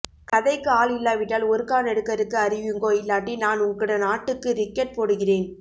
கதைக்கு ஆள் இல்லாவிட்டால் ஒருக்கா நெடுக்கருக்கு அறிவியுங்கோ இல்லாட்டி நான் உங்கட நாட்டுக்கு ரிக்கட் போடுகிறேன்